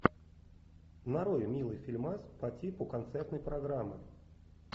нарой милый фильмас по типу концертной программы